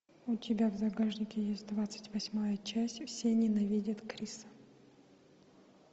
у тебя в загашнике есть двадцать восьмая часть все ненавидят криса